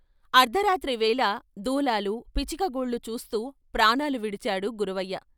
అర్థరాత్రి వేళ దూలాలు, పిచ్చుక గూళ్ళు చూస్తూ ప్రాణాలు విడిచాడు గురవయ్య.